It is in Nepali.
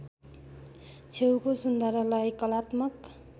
छेउको सुन्धारालाई कलात्मक